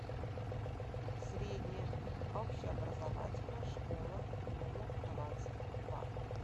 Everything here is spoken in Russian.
средняя общеобразовательная школа номер двадцать два